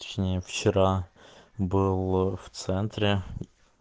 точнее вчера был в центре